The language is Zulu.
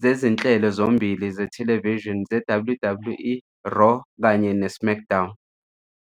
zezinhlelo zombili zethelevishini zeWWE, Raw kanye neSmackDown.